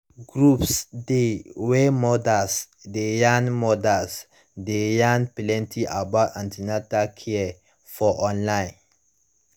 groups dey wey mothers dey yarn mothers dey yarn plenty about an ten atal care for online